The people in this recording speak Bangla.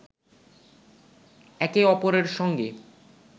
একে অপরের সঙ্গে